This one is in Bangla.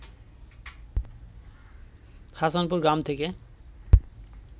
হাসানপুর গ্রাম থেকে